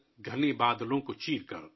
گھنے بادلوں کو چیر کر